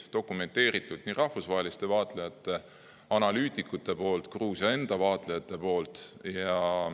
Need on dokumenteeritud nii rahvusvaheliste vaatlejate, analüütikute poolt kui ka Gruusia enda vaatlejate poolt.